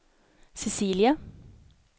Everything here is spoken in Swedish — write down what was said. Cecilia